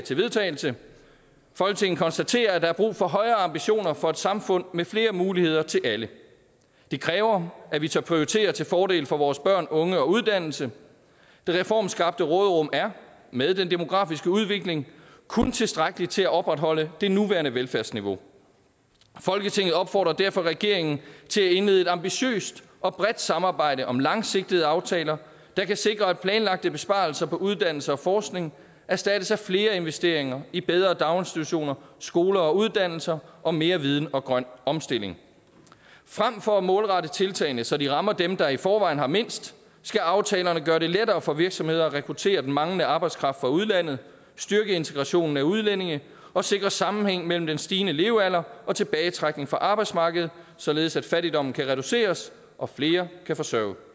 til vedtagelse folketinget konstaterer at der er brug for højere ambitioner for et samfund med flere muligheder til alle det kræver at vi tør prioritere til fordel for vores børn unge og uddannelse det reformskabte råderum er med den demografiske udvikling kun tilstrækkeligt til at opretholde det nuværende velfærdsniveau folketinget opfordrer derfor regeringen til at indlede et ambitiøst og bredt samarbejde om langsigtede aftaler der kan sikre at planlagte besparelser på uddannelse og forskning erstattes af flere investeringer i bedre daginstitutioner skoler og uddannelser og mere viden og grøn omstilling frem for at målrette tiltagene så de rammer dem der i forvejen har mindst skal aftalerne gøre det lettere for virksomheder at rekruttere den manglende arbejdskraft fra udlandet styrke integrationen af udlændinge og sikre sammenhæng mellem den stigende levealder og tilbagetrækning fra arbejdsmarkedet således at fattigdommen kan reduceres og flere kan forsørge